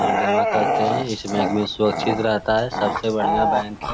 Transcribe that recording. और जमा करते है इस बैंक मे सुरक्षित रहता है सबसे बढ़ियाँ बैंक है |